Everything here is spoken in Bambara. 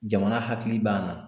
Jamana hakili b'an na.